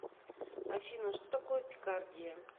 афина что такое пикардия